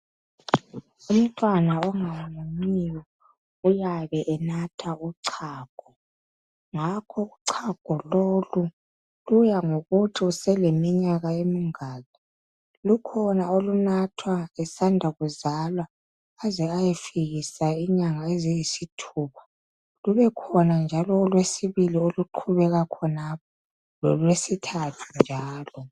Umtwana ongamunyiyo uyabe enatha uchago ngakho uchago lolu luyangokuthi useleminyaka emingaki lukhona olunathwa esanda kuzalwa aze ayefikisa inyanga eziyisi thupha lubekhona njalo olwesibili oluqhubeka khonapho lolwesithathu njalo